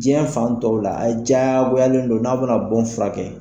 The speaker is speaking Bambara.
Diɲɛ fan tɔw la a diyagoyalen don n'a bɛna bon furakɛ